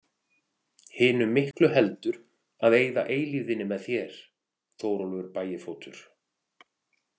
Hinu miklu heldur að eyða eilífðinni með þér, Þórólfur bægifótur.